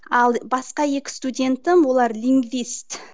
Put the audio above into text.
ал басқа екі студентім олар лингвист